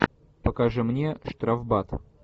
покажи мне штрафбат